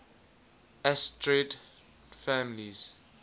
asterid families